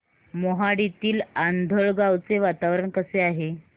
मोहाडीतील आंधळगाव चे वातावरण कसे आहे